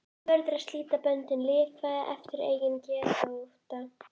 Þú verður að slíta böndin, lifa eftir eigin geðþótta.